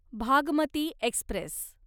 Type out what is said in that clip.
Bhagmati Express